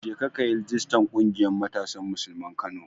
Jeka kayi rijistar ƙungiyar Matasan Musulman Kano.